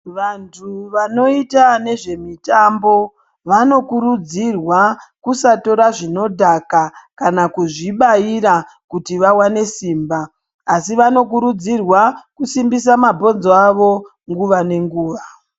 Vantu vanoita nezvemitambo, vanokurudzirwa kusatora zvinodhaka, kana kuzvibaira kuti vawane simba, asi vanokurudzirwa kusimbisa mabhonzo avo nguva nenguva.